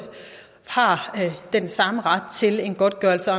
har den samme ret til en godtgørelse